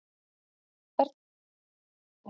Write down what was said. hversvegna ertu svona tregur